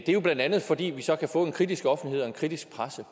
det er jo blandt andet fordi vi så kan få en kritisk offentlighed og en kritisk presse